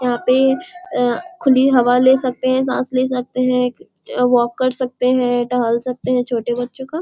यहाँ पे अं खुली हवा ले सकते हैं सांस ले सकते हैं क वॉक कर सकते हैं टहल सकते हैं छोटे बच्चों का।